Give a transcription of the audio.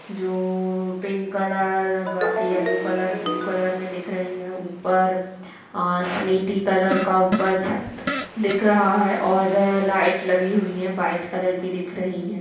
जो pink colour yellow colour blue colour में दिख रही है ऊपर और स्लेटी कलर का छत दिख रहा है और लाइट लगी हुई है वाइट कलर की दिख रही है।